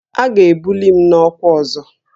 A ga-ebuli m n'ọkwa ọzọ